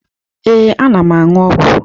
Ee, ana m aṅụ ọgwụ.